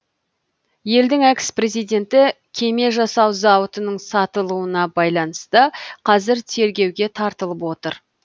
елдің экс президенті кеме жасау зауытының сатылуына байланысты қазір тергеуге тартылып отыр